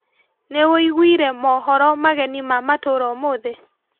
Nĩwĩiguire mohoro mageni ma matũra ũmũthĩ?